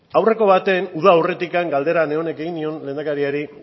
aurreko batean uda aurretikoan galdera neronek egin nion lehendakariari